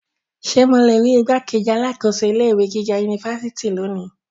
Ṣe mo le rii igbákejì alákòóso ilé ìwé gíga unifásitì loni?